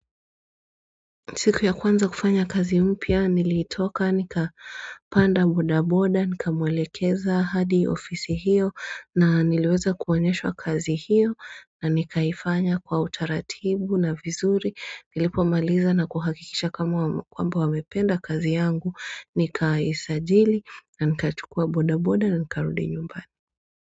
Siku ya kwanza kufanya kazi mpya nilitoka nikapanda boda boda nikamwelekeza hadi ofisi hiyo na niliweza kuonyeshwa kazi hiyo na nikaifanya kwa utaratibu na vizuri. Nilipo maliza na kuhakikisha kwamba wamependa kazi yangu nikaisajili na nikachukua boda boda na nikarudi nyumbani.